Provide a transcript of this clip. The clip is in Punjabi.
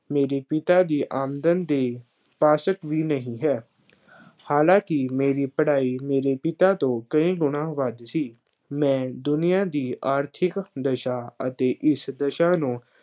ਮੇਰੇ ਪਿਤਾ ਦੀ ਆਮਦਨ ਦੇ ਪਾਸਕ ਵੀ ਨਹੀਂ ਹੈ। ਹਾਲਾਂਕਿ ਮੇਰੀ ਪੜ੍ਹਾਈ ਮੇਰੇ ਪਿਤਾ ਤੋਂ ਕਈ ਗੁਣਾ ਵੱਧ ਸੀ। ਮੈਂ ਦੁਨੀਆ ਦੀ ਆਰਥਿਕ ਦਸ਼ਾ ਅਤੇ ਇਸ ਦਸ਼ਾ ਨੂੰ